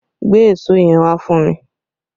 Gbé èso yẹn wá fún mi!